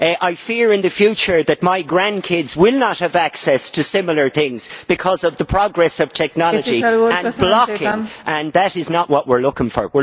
it. I fear in the future that my grandkids will not have access to similar things because of the progress of technology and blocking. That is not what we are looking